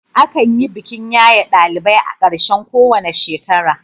Akan yi bikin yaye ɗalibai a ƙarshen kowane shekara.